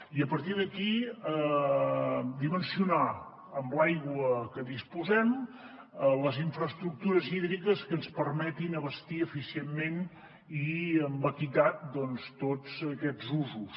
i a partir d’aquí dimensionar amb l’aigua de què disposem les infraestructures hídriques que ens permetin abastir eficientment i amb equitat tots aquests usos